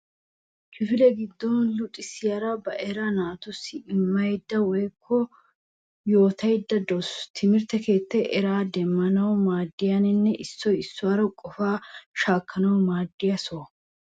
Kifile giddon luxissiyaara ba eraa naatussi immayidda woyikko yootayidda dawusu. Timirtte keettay eraa demmanawu maaddiyaanne issoy issuwara qofaa shaakkanawu maaddiya soho.